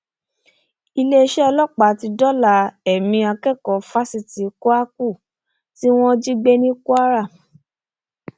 iléeṣẹ ọlọpàá ti dóòlà ẹmí akẹkọọ fásitì kwakù tí wọn jí gbé ní kwara